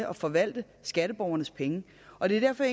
at forvalte skatteborgernes penge og det er derfor